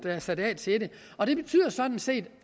er sat af til det og det betyder sådan set